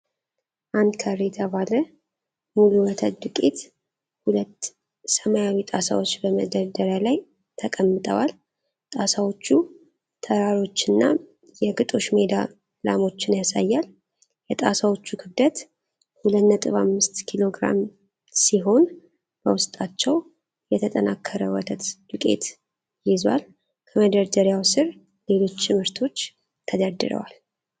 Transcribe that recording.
አንከር የተባለ ሙሉ ወተት ዱቄት ሁለት ሰማያዊ ጣሳዎች በመደርደሪያ ላይ ተቀምጠዋል። ጣሳዎቹ ተራሮችንና የግጦሽ ሜዳ ላሞችን ያሳያሉ። የጣሳዎቹ ክብደት 2.5 ኪሎግራም ሲሆን በውስጣቸው የተጠናከረ ወተት ዱቄት ይዟል። ከመደርደሪያው ስር ሌሎች ምርቶች ተደርድረዋል።